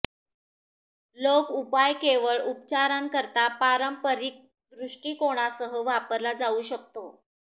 लोक उपाय केवळ उपचारांकरता पारंपरिक दृष्टिकोणासह वापरला जाऊ शकतो